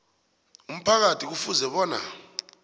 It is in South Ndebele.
umphakathi kufuze bona